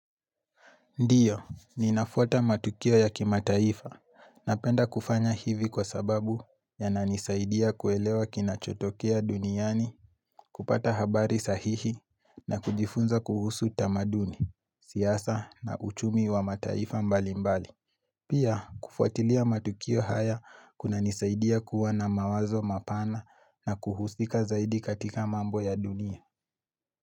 Ndiyo, ninafuata matukio ya kimataifa napenda kufanya hivi kwa sababu yananisaidia kuelewa kinachotokea duniani, kupata habari sahihi na kujifunza kuhusu tamaduni, siasa na uchumi wa mataifa mbali mbali. Pia, kufuatilia matukio haya kuna nisaidia kuwa na mawazo mapana na kuhusika zaidi katika mambo ya dunia.